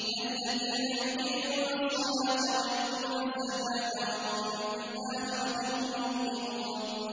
الَّذِينَ يُقِيمُونَ الصَّلَاةَ وَيُؤْتُونَ الزَّكَاةَ وَهُم بِالْآخِرَةِ هُمْ يُوقِنُونَ